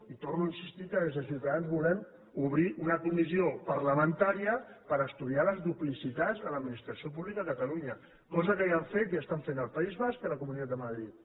i torno a insistir que des de ciutadans volem obrir una comissió parlamentària per estudiar les duplicitats a l’administració pública de catalunya cosa que ja han fet i estan fent al país basc i a la comunitat de madrid